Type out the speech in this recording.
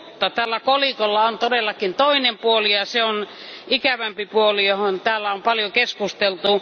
Mutta tällä kolikolla on todellakin toinen puoli, ja se on ikävämpi puoli, josta täällä on paljon keskusteltu.